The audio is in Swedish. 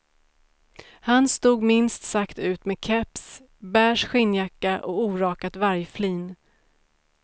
Han stod minst sagt ut med keps, beige skinnjacka och orakat vargflin.